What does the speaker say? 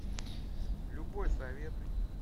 любой советуй